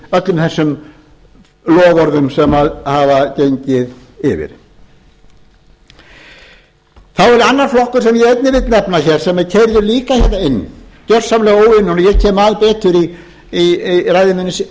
öllum þessum loforðum sem hafa gengið yfir þá er annar flokkur sem ég einnig vil nefna hér sem er keyrður auka hérna inn gjörsamlega óunninn og ég kem að betur í